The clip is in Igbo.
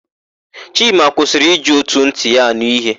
Chima kwụsịrị iji ótù ntị ya ànụ́ íhé.